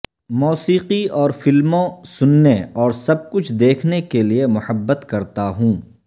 موسیقی اور فلموں سننے اور سب کچھ دیکھنے کے لئے محبت کرتا ہوں